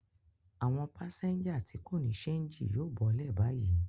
Àwọn pásẹ́ńjà tí kò ní ṣéńjì yóò bọ́lẹ̀ báyìí.